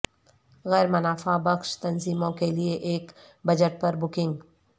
غیر منافع بخش تنظیموں کے لئے ایک بجٹ پر بکنگ